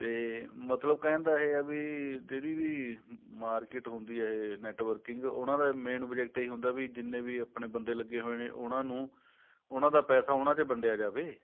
ਤੇ ਮਤਲਬ ਕਹਿਣ ਦਾ ਇਹ ਹੈ ਵੀ ਜਿਹੜੀ ਵੀ market ਹੁੰਦੀ ਆ networking ਉਹਨਾ ਦਾ main project ਇਹੀ ਹੁੰਦਾ ਵੀ ਜਿੰਨੇ ਵੀ ਆਪਣੇ ਬੰਦੇ ਲੱਗੇ ਹੋਏ ਨੇ ਉਹਨਾ ਨੂੰ ਉਹਨਾ ਦਾ ਪੈਸਾ ਉਹਨਾ ਚ ਵੰਡਿਆ ਜਾਵੇ